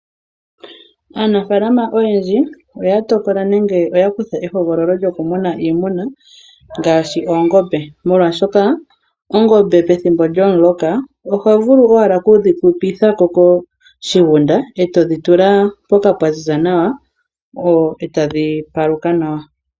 Aanafaalama oyendji oya tokola nenge oya kutha ehogololo lyoku muna iimuna ngaashi oongombe molwaashoka oongombe pethimbo lyomuloka oho vulu owala kudhi pitithako koshigunda eto dhi tula mpoka pwa ziza nawa etadhi paluka nawa.